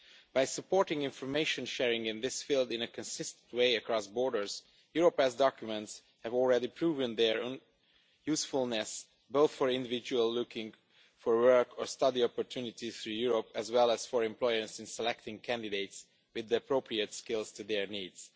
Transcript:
By supporting information sharing in this field in a consistent way across borders, Europass documents have already proven their usefulness, both for individuals looking for work or study opportunities throughout Europe, and for employers in selecting candidates with the appropriate skills to their needs.